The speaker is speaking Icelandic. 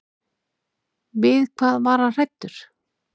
Við hvað var hann hræddur?